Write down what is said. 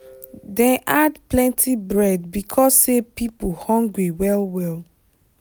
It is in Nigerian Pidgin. dem add plenty bread because say people hungry well well.